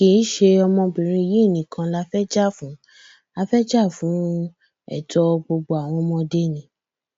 kì í ṣe ọmọbìnrin yìí nìkan la fẹẹ jà fún a fẹẹ jà fún ẹtọ gbogbo àwọn ọmọdé ni